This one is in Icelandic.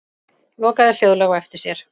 Lokaði hljóðlega á eftir sér.